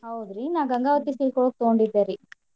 ಹೌದ್ರಿ ನಾನ್ ಗಂಗಾವತಿ silk ಒಳ್ಗ ತಗೊಂಡಿದ್ದೇ ರೀ.